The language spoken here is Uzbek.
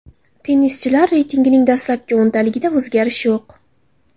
Tennischilar reytingining dastlabki o‘ntaligida o‘zgarish yo‘q.